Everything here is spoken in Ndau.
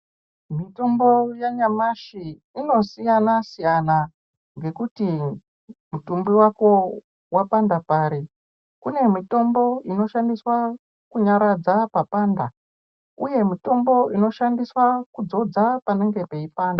Mitombo yanyamashi inosiyana-siyana ngekuti mutumbi wako wapanda pari, kune mitombo inoshandiswa kunyaradza papanda uye mitombo inoshandiswa kudzodza panenge peyipanda.